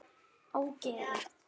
Ógeðið þitt!